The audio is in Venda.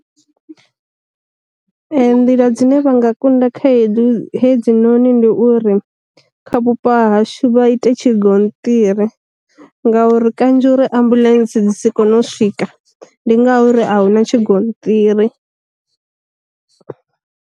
Nḓila dzine vha nga kunda khaedu hedzi noni ndi uri, kha vhupo hashu vha ite tshi gonṱiri, ngauri kanzhi uri ambuḽentse dzi si kone u swika, ndi ngauri a huna tshi gonṱiri.